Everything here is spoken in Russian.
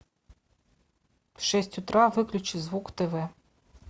в шесть утра выключи звук тв